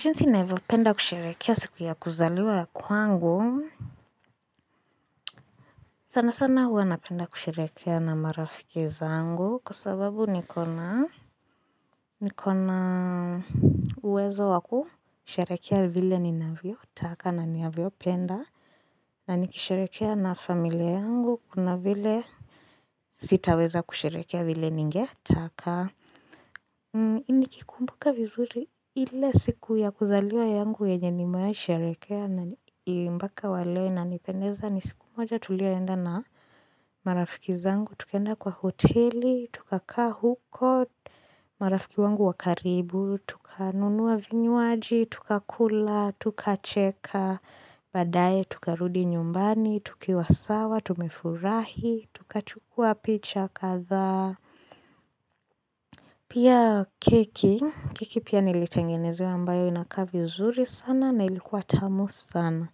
Jinsi ninavyopenda kusherekea siku ya kuzaliwa ya kwangu. Sana sana huwa napenda kusherekea na marafiki zangu kwa sababu niko na niko na uwezo wakusherekea vile ninavyotaka na ninavyopenda. Na nikisherekea na familia yangu kuna vile sitaweza kusherekea vile ningetaka. Nikikumbuka vizuri ile siku ya kuzaliwa yangu yenye nimewahi sherekea na mpaka wa leo inanipendeza ni siku moja tuliwahi enda na marafiki zangu, tukaenda kwa hoteli, tukakaa huko, marafiki wangu wakaribu, tukanunua vinywaji, tukakula, tukacheka, badaae tukarudi nyumbani, tukiwa sawa, tumefurahi, tukachukua picha kadhaa. Pia keki, keki pia nilitengenezewa ambayo inakaa vizuri sana na ilikuwa tamu sana.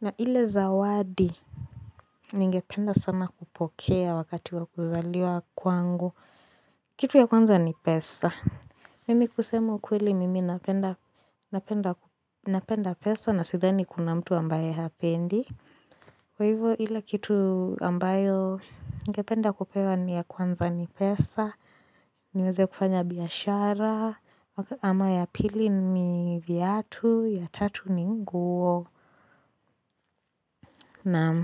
Na ile zawadi, ningependa sana kupokea wakati wa kuzaliwa kwangu Kitu ya kwanza ni pesa. Mimi kusema ukweli mimi napenda pesa na sidhani kuna mtu ambaye hapendi. Kwa hivyo, ile kitu ambayo ningependa kupewa ni ya kwanza ni pesa. Niweze kufanya biashara ama ya pili ni viatu ya tatu ni nguo naam.